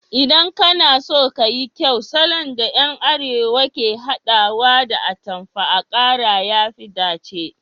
Idan kana so ka yi kyau, salon da yan arewa ke hadawa da atamfan akara ya fi dace